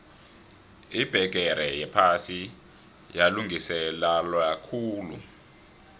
ibbegere yephasi yalungiselelwakhulu